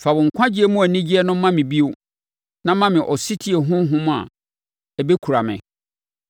Fa wo nkwagyeɛ mu anigyeɛ no ma me bio na ma me ɔsetie honhom a ɛbɛkura me.